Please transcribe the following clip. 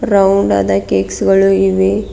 Round ಆದ cakes ಗಳು ಇವೆ.